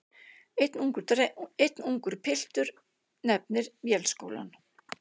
Einn ungur piltur nefnir Vélskólann.